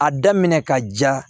A daminɛ ka ja